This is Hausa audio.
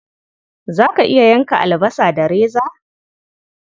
Za ka iya yanka albasa da reza?